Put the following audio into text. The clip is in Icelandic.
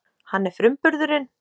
Hann er frumburðurinn.